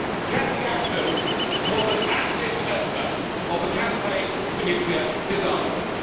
Cathy Ashton was an active member of the Campaign for Nuclear Disarmament.